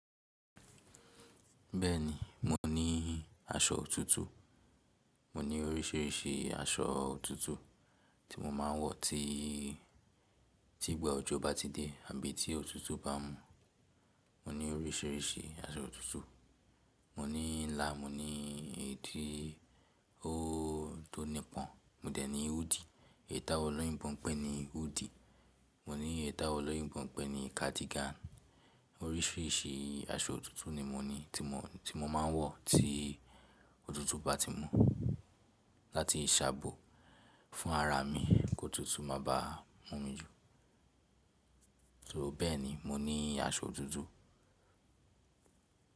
Bẹ́ẹ̀ni, mo ní aṣọ òtútù. Mo ní oríṣiríṣi aṣọ òtútù tí mo máa ń wọ̀ tí, tí ìgbà òjò bá ti dé àbí tí òtútù bá mú. Mo ní oríṣiríṣi aṣọ òtútù. Mo ní ńlá, mo ní èédí ó tó nípọn. Mo dẹ̀ ní húùdì. Ètà olóyìnbó n pè ni húùdì. Mo ní ètà olóyinbọn pẹ́ ni kàdígàn. Oríṣiríṣi aṣọ òtútù ni mo ní tí mo, tí mo máa ń wọ̀ tí òtútù bá ti mú láti ṣàbò fún ara mi kí òtútù má bá mú mi jù. So bẹ́ẹ̀ni, mo ní aṣọ òtútù.